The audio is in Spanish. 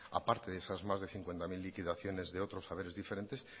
a parte de esas más de cincuenta mil liquidaciones de otros haberes diferentes